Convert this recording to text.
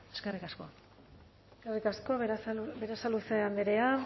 eskerrik asko eskerrik asko berasaluze andrea